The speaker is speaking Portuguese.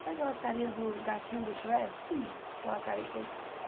Sabe aquelas carinhas do gatinho do Shrek? aquela cari